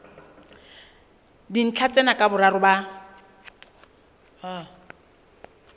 dintlha tsena ka boraro ba